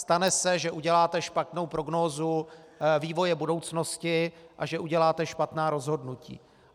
Stane se, že uděláte špatnou prognózu vývoje budoucnosti a že uděláte špatná rozhodnutí.